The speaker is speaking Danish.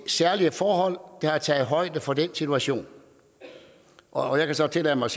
særlige forhold der tager højde for den situation og jeg kan så tillade mig